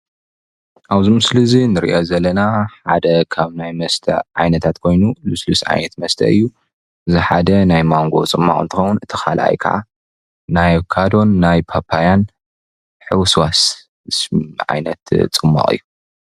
ኣብ ምስሊ እዚ እንሪኦ ዘለና ሓደ ካብ ናይ መስተ ዓይነታት ኮይኑ ልስሉስ መስተ እዩ እቲ ሓደ ናይ ማንጎ ፅሟቅ እንትከውን እቲ ካልአይ ከዓ ናይ አቨካዶን ፓፓያን ሕውስዋስ ዓይነት ፅሟቅ እዩ፡፡